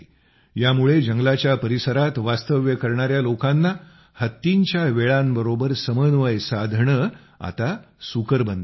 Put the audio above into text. यामुळे जंगलाच्या परिसरात वास्तव्य करणाया लोकांना हत्तींच्या वेळांबरोबर समन्वय साधणं आता सुकर बनलं आहे